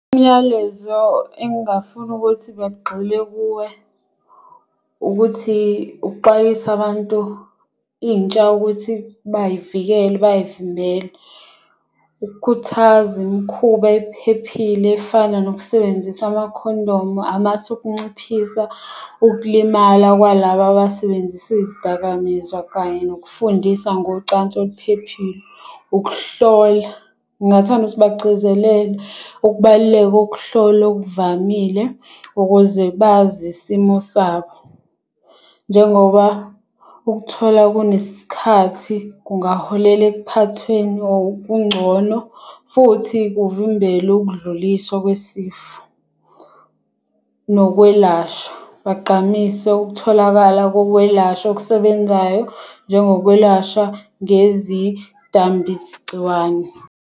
Umyalezo engingafuna ukuthi bagxile kuwe ukuthi ukuxwayisa abantu intsha ukuthi bay'vikele bay'vimbele. Ukukhuthaza imikhuba ephephile efana nokusebenzisa amakhondomu. Amasu okunciphisa ukulimala kwalaba abasebenzisa izidakamizwa kanye nokufundisa ngocansi oluphephile. Ukuhlola ngingathanda ukuthi bagcizelele ukubaluleka kokuhlola okuvamile, ukuze bazi isimo sabo. Njengoba ukuthola kunesikhathi kungaholela ekuphathweni or kungcono futhi kuvimbele ukudluliswa kwesifo nokwelashwa. Bagqamise ukutholakala kokwelashwa okusebenzayo njengo kwelashwa ngezidambisigciwane.